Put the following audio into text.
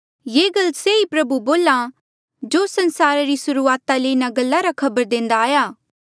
ये ई गल से ही प्रभु बोल्हा जो संसारा री सुर्हूआता ले इन्हा गल्ला रा खबर देंदा आया